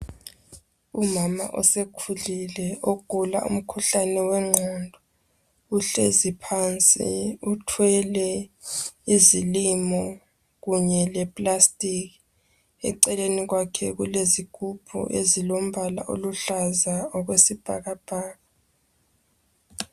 Umama osekhulile osegula umkhuhlane wengqondo uhlezi phansi uthwele izilimo kunye leplastic, eceleni kwakhe kulezigubhu ezilombala oluhlaza okwesibhakabhaka.